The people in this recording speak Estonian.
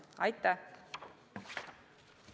Aitäh!